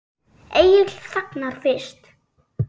Egill þagnar fyrst.